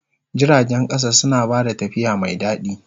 Jiragen ƙasa suna ba da tafiya mai daɗi.